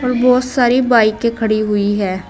बहोत सारी बाइकें खड़ी हुई है।